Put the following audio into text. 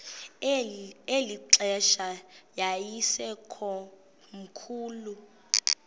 eli xesha yayisekomkhulu